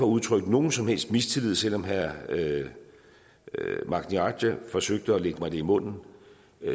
udtrykke nogen som helst mistillid selv om herre magni arge forsøgte at lægge mig det i munden